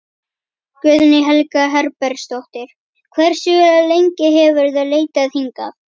Guðný Helga Herbertsdóttir: Hversu lengi hefurðu leitað hingað?